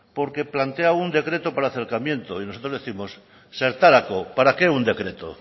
porque plantea un decreto para el acercamiento y nosotros décimos zertarako para qué un decreto